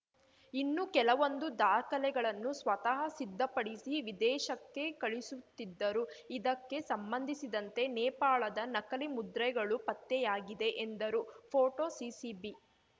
ಇನ್ನು ಕೆಲವೊಂದು ದಾಖಲೆಗಳನ್ನು ಸ್ವತಃ ಸಿದ್ಧಪಡಿಸಿ ವಿದೇಶಕ್ಕೆ ಕಳುಹಿಸುತ್ತಿದ್ದರು ಇದಕ್ಕೆ ಸಂಬಂಧಿಸಿದಂತೆ ನೇಪಾಳದ ನಕಲಿ ಮುದ್ರೆಗಳು ಪತ್ತೆಯಾಗಿದೆ ಎಂದರು ಫೋಟೋಸಿಸಿಬಿ